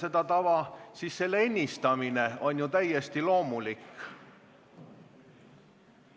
Endise olukorra ennistamine on ju täiesti loomulik.